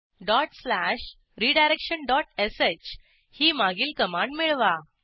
dot slash redirection dot sh ही मागील command मिळवा